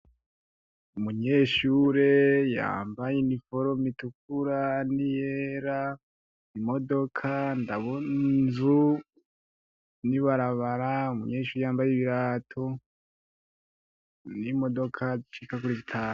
Umunyeshure yambaye iniforume niyera, imodoka , ndabona inzu, Mwibarabara umunyeshure yambaye ibirato. nimodoka zishika kurizitanu.